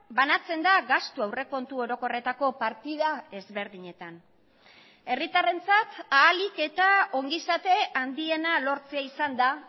banatzen da gastu aurrekontu orokorretako partida ezberdinetan herritarrentzat ahalik eta ongizate handiena lortzea izan da